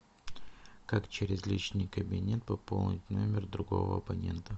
как через личный кабинет пополнить номер другого абонента